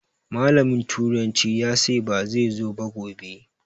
Malamin turanci ya sai ba zai zo ba gobe